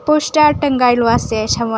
Poster টাঙ্গাইলো আছে সামোনে ।